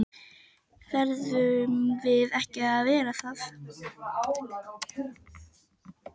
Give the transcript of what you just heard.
Verðum við ekki að vera það?